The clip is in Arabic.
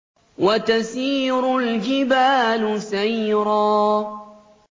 وَتَسِيرُ الْجِبَالُ سَيْرًا